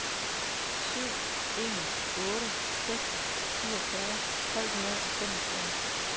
syv en otte seks syvogfyrre tre hundrede og femogfyrre